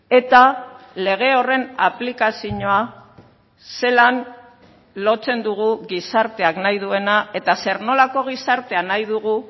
eta lege horren aplikazioa zelan lotzen dugu gizarteak nahi duena eta zer nolako gizartea nahi dugu